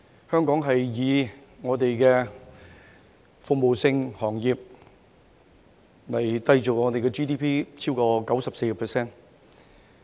香港向以服務性行業締造本地的 GDP， 所佔比重超過 94%。